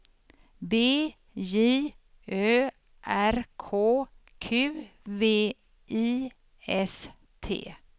B J Ö R K Q V I S T